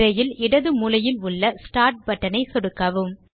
திரையில் இடது மூலையில் உள்ள ஸ்டார்ட் பட்டனை சொடுக்கவும்